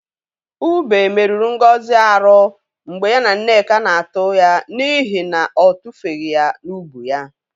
Ube meruru Ngozi arụ mgbe ya na Nneka na-atụ ya n'ihi na ọ tufeghi ya n'ubu ya.